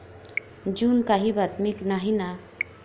जून काही बातमी नाही ना.